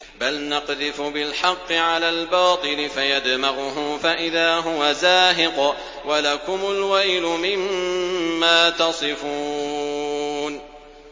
بَلْ نَقْذِفُ بِالْحَقِّ عَلَى الْبَاطِلِ فَيَدْمَغُهُ فَإِذَا هُوَ زَاهِقٌ ۚ وَلَكُمُ الْوَيْلُ مِمَّا تَصِفُونَ